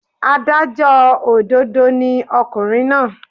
Adájọ́ òdodo ni ọkùnrin náà.